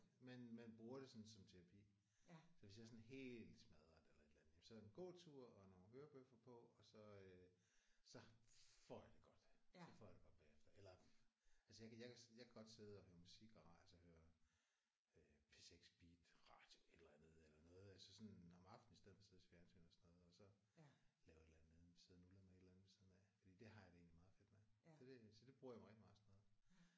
Men men bruger det sådan som terapi. Så hvis jeg er sådan helt smadret eller et eller andet jamen så en gåtur og nogle hørebøffer på og så øh så får jeg det godt. Så får jeg det godt bagefter eller altså jeg kan jeg kan jeg kan godt sidde og høre musik og radio altså høre P6 Beat radio et eller andet eller noget altså sådan om aftenen i stedet for at sidde og se fjernsyn og sådan noget og så lave et aller andet andet sidde og nulre med noget ved siden af for det har jeg det egentlig meget fedt med. Så det det bruger jeg mig rigtig meget sådan noget